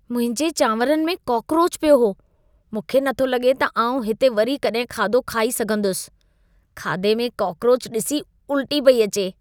मुंहिंजे चांवरनि में कॉकरोचु पियो हो। मूंखे नथो लॻे त आउं हिते वरी कॾहिं खाधो खाई सघंदुसि। खाधे में कॉकरोचु ॾिसी उल्टी पई अचे।